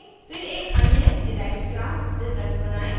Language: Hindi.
* फिर एक अन्य डिराइव्ड class result बनायें